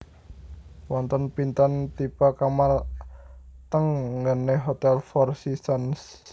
Wonten pinten tipe kamar teng nggene Hotel Four Seasons?